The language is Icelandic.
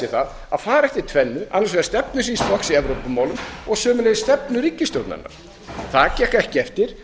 það að fara eftir tvennu annars vegar stefnu síns flokks í evrópumálum og sömuleiðis stefnu ríkisstjórnarinnar það gekk ekki eftir